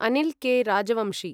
Anil K. Rajvanshi